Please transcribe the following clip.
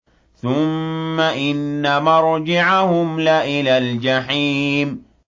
ثُمَّ إِنَّ مَرْجِعَهُمْ لَإِلَى الْجَحِيمِ